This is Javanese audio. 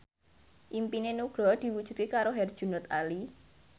impine Nugroho diwujudke karo Herjunot Ali